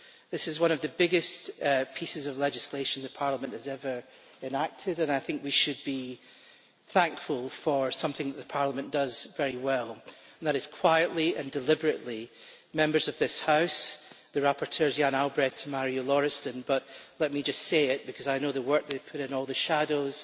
This is one of the biggest pieces of legislation Parliament has ever enacted, and I think we should be thankful for something that Parliament does very well, and that is quietly and deliberately, Members of this House, the rapporteurs Jan Albrecht and Marju Lauristin but let me just say it because I know all the work they put in all the shadows,